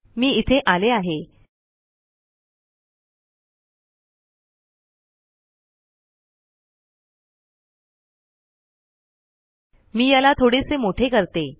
हे इथे आले आहे मी याला थोडेसे मोठे करते